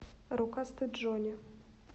рукастый джонни